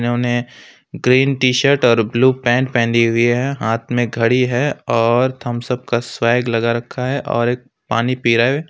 इन्होंने green t-shirt और blue pant पहनी हुई है हाथ में घड़ी है और थम्स अप का स्वैग लगा रखा है और एक पानी पी रह है।